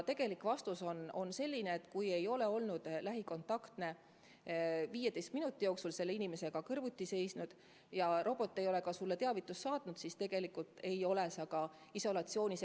Vastus on selline, et kui ei ole olnud lähikontaktne 15 minuti jooksul haige inimesega, temaga kõrvuti seisnud, ja robot ei ole ka teavitust saatnud, siis tegelikult ei pea olema isolatsioonis.